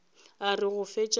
a re go fetša go